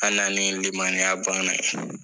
An nanlen limaniya banna yen